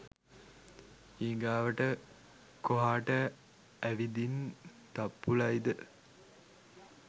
ඊගාවට කොහාට ඇවිදින් තප්පුලයිද